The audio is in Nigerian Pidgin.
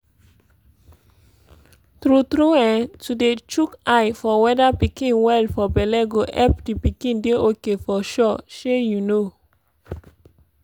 tru tru eh to dey shook eye for weda pikin well for belle go epp d pikin dey ok for sure shey you know?